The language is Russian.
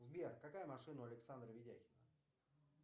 сбер какая машина у александра видяхина